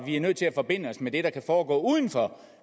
vi er nødt til at forbinde os med det der kan foregå uden for